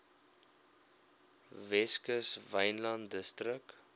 weskus wynland distrik